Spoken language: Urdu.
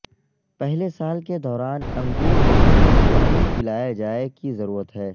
پہلے سال کے دوران انگور مسلسل پانی پلایا جائے کی ضرورت ہے